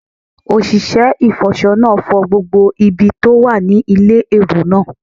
Òṣìṣẹ́ ìfọṣọ náà fọ gbogbo ibi tó wà ní ilé èrò náà